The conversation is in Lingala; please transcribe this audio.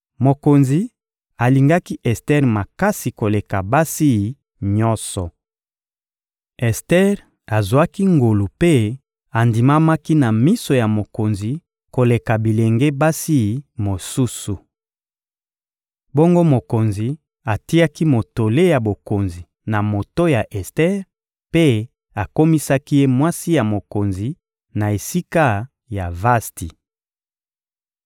Mokonzi alingaki Ester makasi koleka basi nyonso. Ester azwaki ngolu mpe andimamaki na miso ya mokonzi koleka bilenge basi mosusu. Bongo mokonzi atiaki motole ya bokonzi na moto ya Ester mpe akomisaki ye mwasi ya mokonzi na esika ya Vasti.